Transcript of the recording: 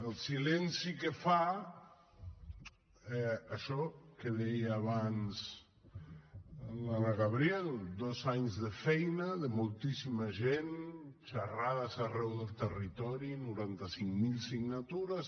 el silenci que fa això que deia abans l’anna gabriel dos anys de feina de moltíssima gent xerrades arreu del territori noranta cinc mil signatures